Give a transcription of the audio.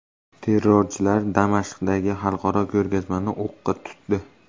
Terrorchilar Damashqdagi xalqaro ko‘rgazmani o‘qqa tutdi.